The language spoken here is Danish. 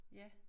Ja